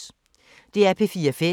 DR P4 Fælles